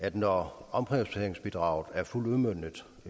at når omprioriteringsbidraget er fuldt udmøntet